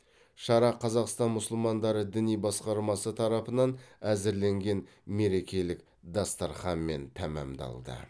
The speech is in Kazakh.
шара қазақстан мұсылмандары діни басқармасы тарапынан әзірленген мерекелік дастарханмен тәмамдалды